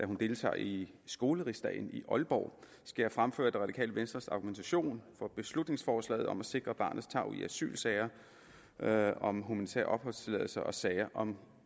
hun deltager i skolerigsdagen i aalborg skal jeg fremføre radikale venstres argumentation for beslutningsforslaget om at sikre barnets tarv i asylsager sager om humanitær opholdstilladelse og sager om